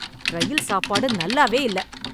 ரயில் சாப்பாடு நல்லாவே இல்ல.